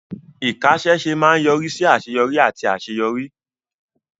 Ìkáṣẹ́ṣe máa ń yọrí sí àṣeyọrí àti àṣeyọrí.